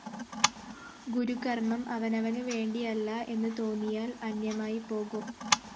ഗുരുകര്‍മ്മം അവനവനു വേണ്ടിയല്ല എന്നു തോന്നിയാല്‍ അന്യമായിപ്പോകും